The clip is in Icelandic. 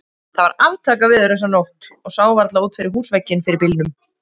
Það var aftakaveður þessa nótt og sá varla út fyrir húsvegginn fyrir bylnum.